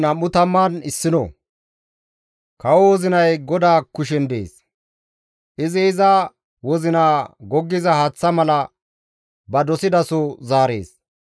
Kawo wozinay GODAA kushen dees; izi iza wozinaa goggiza haaththa mala ba dosidaso zaarees.